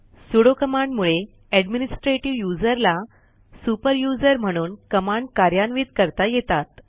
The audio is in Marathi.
सुडो कमांडमुळे एडमिनिस्ट्रेटिव्ह यूझर ला सुपर यूझर म्हणून कमांड कार्यान्वित करता येतात